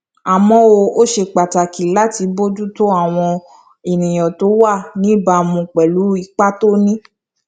àmó ó ṣe pàtàkì láti bójú tó àwọn àníyàn tó wà níbàámu pẹlú ipa tó ní